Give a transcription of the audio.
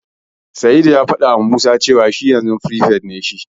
Sa'idu ya fadawa Musa cewa yanzu firifet ne shi.